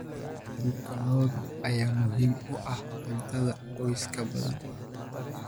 Hilibka lo'da ayaa muhiim u ah cuntada qoysas badan.